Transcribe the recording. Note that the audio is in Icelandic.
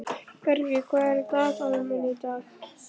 Bergey, hvað er í dagatalinu mínu í dag?